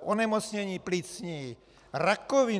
onemocnění plicní, rakovina.